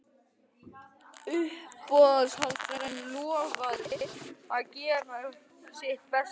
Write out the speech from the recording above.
Uppboðshaldarinn lofaði að gera sitt besta til þess.